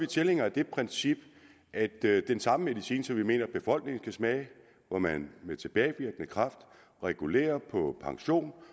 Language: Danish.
tilhængere af det princip at den samme medicin som vi mener befolkningen skal smage hvor man med tilbagevirkende kraft regulerer på pension